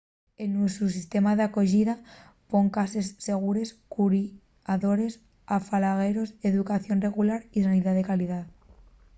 el nuesu sistema d'acoyida pon cases segures curiadores afalagueros educación regular y sanidá de calidá